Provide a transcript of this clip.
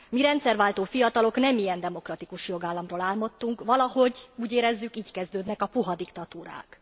Mi, rendszerváltó fiatalok nem ilyen demokratikus jogállamról álmodtunk, és valahogy úgy érezzük, így kezdődnek a puha diktatúrák.